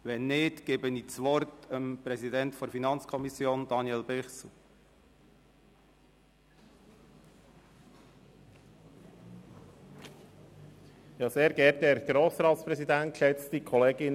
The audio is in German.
– Wenn nicht, gebe ich das Wort dem Präsidenten der FiKo, Daniel Bichsel. ,Kommissionspräsident der FiKo.